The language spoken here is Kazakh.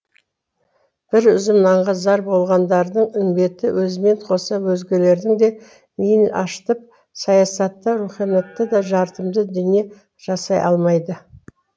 бір үзім нанға зар болғандардың үмбеті өзімен қоса өзгелердің де миын ашытып саясатта руханиятта да жартымды дүние жасай алмайды